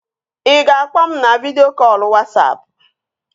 Ị ga-akpọ m na vidịo kọlụ Wasapụ?